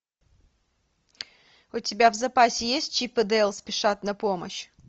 у тебя в запасе есть чип и дейл спешат на помощь